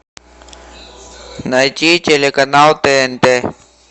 найти телеканал тнт